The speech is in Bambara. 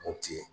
Mopti ye